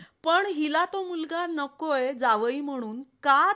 पण हिला तो मुलगा नकोय जावई म्हणुन